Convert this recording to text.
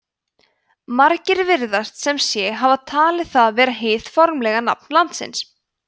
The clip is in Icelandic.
margir virðast sem sé hafa talið það vera hið formlega nafn landsins